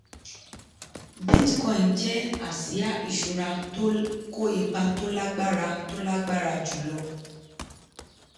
bitcoin jẹ́ àsìá ìṣura tó kó ipa tó lágbára tó lágbára jùlọ.